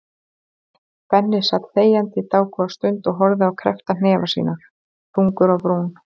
Benni sat þegjandi dágóða stund og horfði á kreppta hnefa sína, þungur á brún.